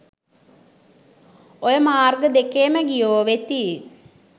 ඔය මාර්ග දෙකේම ගියෝ වෙති